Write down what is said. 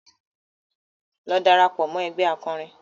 Lọ darapọ̀ mọ́ ẹgbé akọrin!